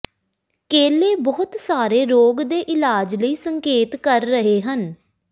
ਕੇਲੇ ਬਹੁਤ ਸਾਰੇ ਰੋਗ ਦੇ ਇਲਾਜ ਲਈ ਸੰਕੇਤ ਕਰ ਰਹੇ ਹਨ